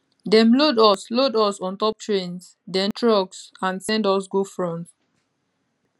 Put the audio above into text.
dem load us load us ontop trains den trucks and send us go front